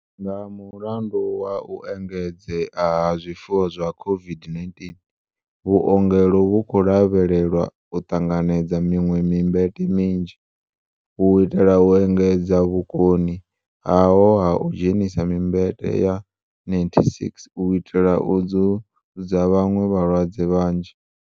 Nga mulandu wa u engedzea ha zwiwo zwa COVID-19, vhuongelo vhu khou lavhe lelwa u ṱanganedza miṅwe mimbete minzhi, u itela u engedza vhukoni haho ha u dzhenisa mimbete ya 96 u itela u dzudza vhaṅwe vhalwadze vhanzhi.